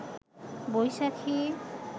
বৈশাখী